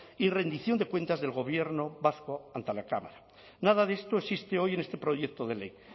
y rendición de cuentas del gobierno vasco ante la cámara nada de esto existe hoy en este proyecto de ley